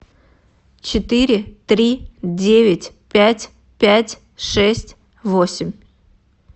четыре три девять пять пять шесть восемь